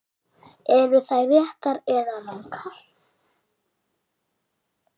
Eru þær réttar eða rangar?